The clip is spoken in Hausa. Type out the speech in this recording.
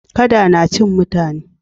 Kada na cin mutane.